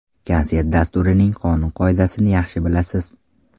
Konsert dasturining qonun-qoidasini yaxshi bilasiz.